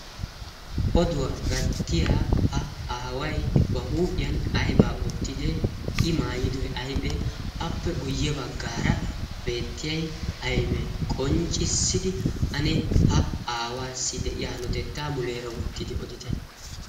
oduwaa gattiya ha aaway ba huuphiyan aybaa wottidi i maayidoi aiphee appe guyye baggaara beettiyai aibee qonccissidi ane ha aawaassi de'iya notettaa muleera wottidi otide?